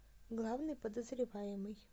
главный подозреваемый